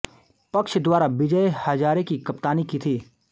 पक्ष द्वारा विजय हजारे की कप्तानी की थी